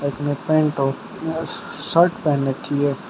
इसने पेंट और शर्ट पहन रखी है।